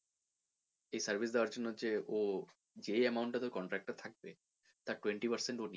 এই service দেওয়ার জন্যে যে ও যেই amount টা তোর contract এ থাকবে তার twenty percent ও নিয়ে নেয়